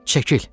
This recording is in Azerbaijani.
Çəkil!